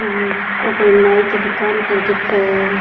और ओ कोई नाइ की दुकान पर दिख है।